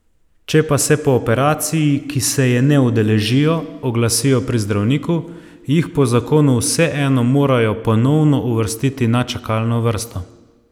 Če pa se po operaciji, ki se je ne udeležijo, oglasijo pri zdravniku, jih po zakonu vseeno morajo ponovno uvrstiti na čakalno vrsto.